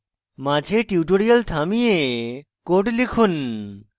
মাঝে tutorial থামিয়ে code লিখুন